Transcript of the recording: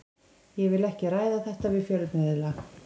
Ég vil ekki ræða þetta við fjölmiðla.